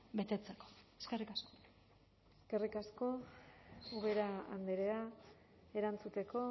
betetzeko eskerrik asko eskerrik asko ubera andrea erantzuteko